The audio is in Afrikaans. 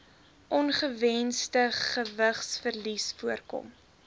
ongewensde gewigsverlies voorkom